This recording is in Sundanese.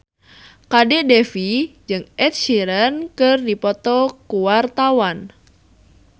Kadek Devi jeung Ed Sheeran keur dipoto ku wartawan